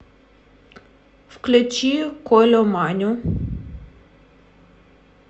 включи колю маню